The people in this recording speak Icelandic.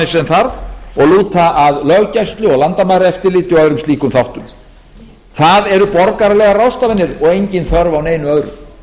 sem þarf og lúta að löggæslu og landamæraeftirliti og öðrum slíkum þáttum það eru borgaralegar ráðstafanir og engin þörf á neinu öðru